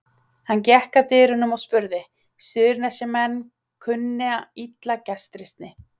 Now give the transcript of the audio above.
Hann gekk að dyrunum og spurði:-Suðurnesjamenn kunna illa gestrisni.